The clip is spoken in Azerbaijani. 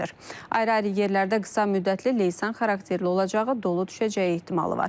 Ayrı-ayrı yerlərdə qısa müddətli leysan xarakterli olacağı, dolu düşəcəyi ehtimalı var.